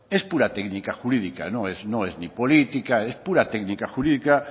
es puramente técnica jurídica no es ni política es pura técnica jurídica